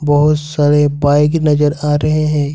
बहुत सारे बाइक नजर आ रहे हैं।